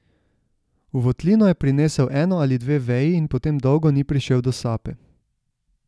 V votlino je prinesel eno ali dve veji in potem dolgo ni prišel do sape.